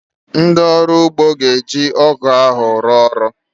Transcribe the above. Ndị ọrụ ugbo ga-eji ọ́gụ̀ ahụ rụọ ọrụ